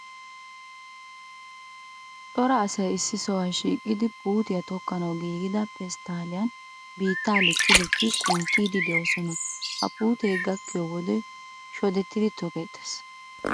Cora asay issi sohuwa shiiqidi puutiya tokkanawu giigida pesttaalliyan biittaa likki likkidi kunttiiddi de'oosona. He puutee gakkiyo wode shoddidi tokkeettees.